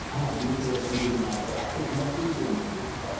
हा. वीस ओव्हरची ती मॅच राहते. तिला टि ट्वेन्टी म्हणतो आपण.